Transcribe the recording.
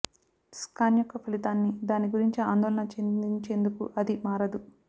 scan యొక్క ఫలితాన్ని దాని గురించి ఆందోళన చెందించేందుకు అది మారదు